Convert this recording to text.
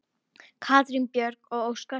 Katrín Björg og Óskar.